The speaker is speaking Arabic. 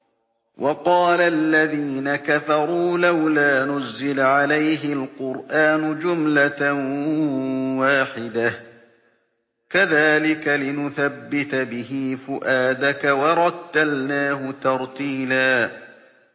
وَقَالَ الَّذِينَ كَفَرُوا لَوْلَا نُزِّلَ عَلَيْهِ الْقُرْآنُ جُمْلَةً وَاحِدَةً ۚ كَذَٰلِكَ لِنُثَبِّتَ بِهِ فُؤَادَكَ ۖ وَرَتَّلْنَاهُ تَرْتِيلًا